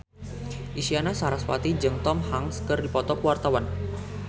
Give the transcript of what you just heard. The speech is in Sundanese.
Isyana Sarasvati jeung Tom Hanks keur dipoto ku wartawan